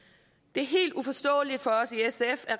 det er helt uforståeligt for os i sf at